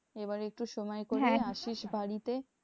এবার একটু সময় করে আসিস বাড়িতে।